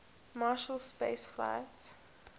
marshall space flight